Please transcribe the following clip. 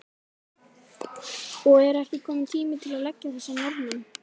Og er ekki kominn tími til að leggja þessa Norðmenn?